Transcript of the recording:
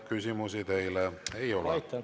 Küsimusi teile ei ole.